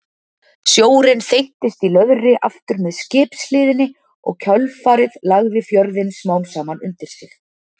Sjórinn þeyttist í löðri aftur með skipshliðinni og kjölfarið lagði fjörðinn smám saman undir sig.